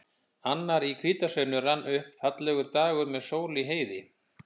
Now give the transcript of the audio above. Annar í hvítasunnu rann upp, fallegur dagur með sól í heiði.